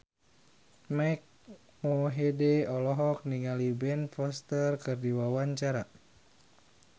Mike Mohede olohok ningali Ben Foster keur diwawancara